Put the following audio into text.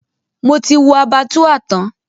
Mo ti wo Abattoir tán.